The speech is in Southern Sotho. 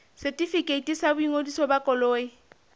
setefikeiti sa boingodiso ba koloi